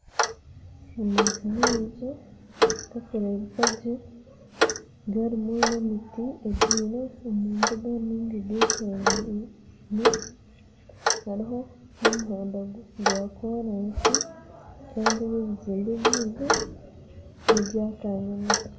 Amaju maingi garikurebekagye garimu n'emiti ebyaire omu mbuga ninga egetorire hariho na omuhanda gwa korasi kandi ebi ebizimbe byingi nebyakanyina.